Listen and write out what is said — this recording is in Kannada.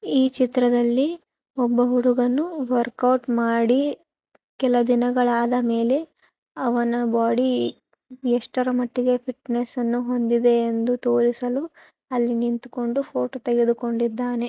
ಈ ಚಿತ್ರದಲ್ಲಿ ಒಬ್ಬ ಹುಡುಗನು ವರ್ಕೌಟ್ ಮಾಡಿ ಕೆಲ ದಿನಗಳಾದ ಮೇಲೆ ಅವನ ಬಾಡಿ ಎಷ್ಟರ ಮಟ್ಟಿಗೆ ಫಿಟ್ನೆಸ್ಸ ನ್ನು ಹೊಂದಿದೆ ಎಂದು ತೋರಿಸಲು ಅಲ್ಲಿ ನಿಂತ್ಕೊಂಡು ಫೋಟೋ ತೆಗೆದುಕೊಂಡಿದ್ದಾನೆ.